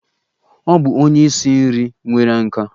Ọ bụ onye isi nri nwere nkà.